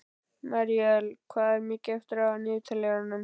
Míríel, hvað er mikið eftir af niðurteljaranum?